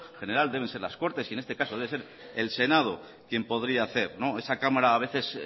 general deben ser las cortes y en este caso debe ser el senado quien podría hacer esa cámara a veces